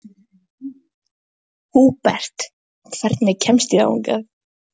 Húbert, hvernig kemst ég þangað?